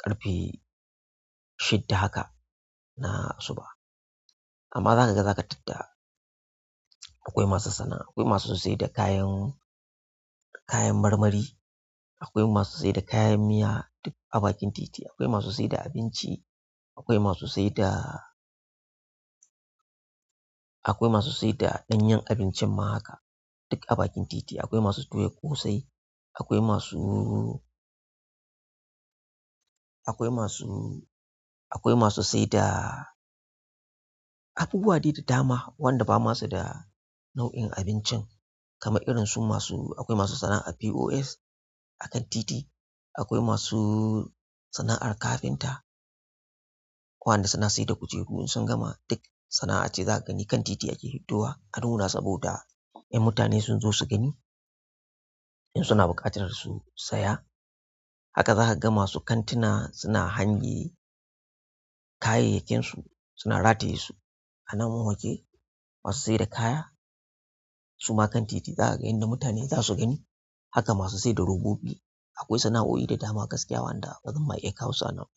ƙarfe shidda haka na asuba. Amma za ka ga za ka tadda akwai masu sana'a, akwai masu sai da kayan, kayan marmari, akwai masu sai da kayan miya duk a bakin titi. Akwai masu sai da abinci, akwai masu sai da, akwai masu sai da ɗanyen abincin ma haka duk a bakin titi. Akwai masu toya ƙosai, akwai masu, akwai masu, akwai masu sai da abubuwa dai da dama wanda ba masu da nau'in abincin kamar irin su masu, akwai masu sana'ar POS a kan titi. Akwai masu sana'ar kafinta, waɗanda suna sai da kujeru in sun gama duk sana'a ce za ka gani kan titi ake hiddowa. Anuna saboda 'yan mutane sun zo su gani in suna buƙatar su saya. Haka za ka ga masu kantuna suna hange kayayyakinsu, suna rataye su a namun wanke. Masu saida kaya su ma kan titi za ka ga inda mutane za su gani. Haka masu sai da robobi. Akwai sana'o'i da dama gaskiya wanda ba zan ma iya kawo su a nan ba.